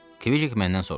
Kviq məndən soruşdu.